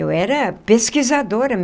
Eu era pesquisadora.